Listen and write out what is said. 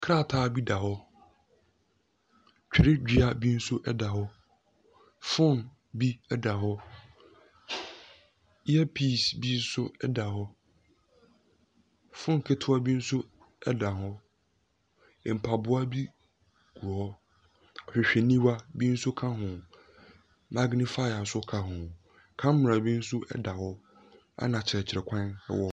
Krataa bi da hɔ. Twerɛdua bi nso da hɔ. Phone bi da hɔ. Earpiece bi nso da hɔ. Phone ketewa bi nso da hɔ. Mpaboa bi wɔ hɔ. Ahwehwɛniwa bi nso ka ho. Magnifier nso ka ho. Camera bi nso da hɔ, ɛnna akyerɛkyerɛkwan wɔ .